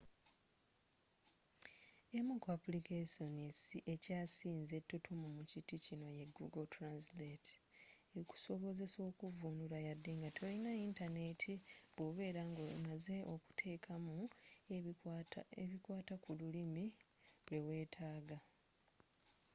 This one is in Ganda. emu ku aplikessoni ekyasinze ettutumu mu kiti kino ye google translate ekusobozesa okuvuunula yade nga tolina yintaneti bw'obeera ng'omaze okuteekamu ebikwata kululimi lwe weetaga